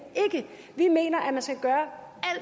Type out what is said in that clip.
ikke vi mener